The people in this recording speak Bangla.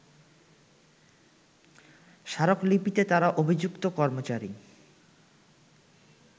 স্মারকলিপিতে তারা অভিযুক্ত কর্মচারী